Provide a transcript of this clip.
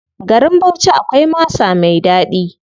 Garin Bauchi akwai masa mai ɗaɗi.